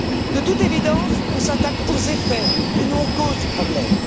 De toute évidence, on s'attaque aux effets et non aux causes du problème.